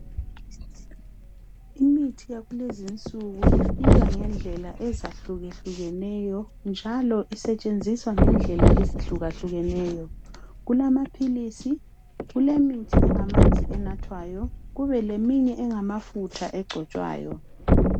Imithi yakulezinsuku ifakwe ngendlela ezehluka hlukeneyo njalo isetshenziswa ngendlela ezehluka hlukeneyo kulamapills kulemithi engamanzi enathwayo kube leminye engafutha engcitshwayo